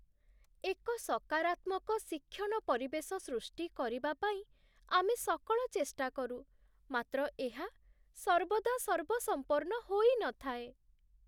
ଏକ ସକାରାତ୍ମକ ଶିକ୍ଷଣ ପରିବେଶ ସୃଷ୍ଟି କରିବା ପାଇଁ ଆମେ ସକଳ ଚେଷ୍ଟା କରୁ, ମାତ୍ର ଏହା ସର୍ବଦା ସର୍ବସମ୍ପନ୍ନ ହୋଇନଥାଏ।